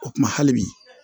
O kuma hali bi